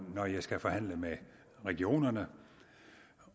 når jeg skal forhandle med regionerne